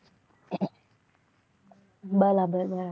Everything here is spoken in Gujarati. બરાબર